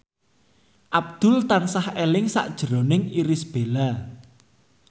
Abdul tansah eling sakjroning Irish Bella